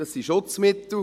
das sind Schutzmittel.